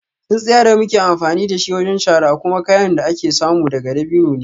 Tsintsiya da muke amfani da shi wajen shara kuma kayan da ake samu daga dabino ne